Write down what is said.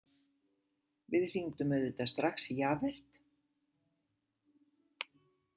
Við hringdum auðvitað strax í Javert.